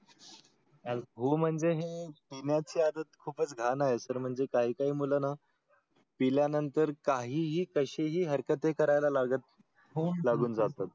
हो म्हणजे हे पिण्याचे आज खूपच घाण आहे सर म्हणजे काय काय मुलांना पिल्यानंतर काही ही कसे ही हरकते आहे करायला लागत. लागून जातात.